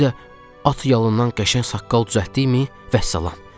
Bir də at yalından qəşəng saqqal düzəltdikmi, vəssalam.